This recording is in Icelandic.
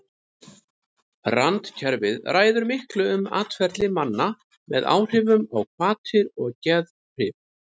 Randkerfið ræður miklu um atferli manna með áhrifum á hvatir og geðhrif.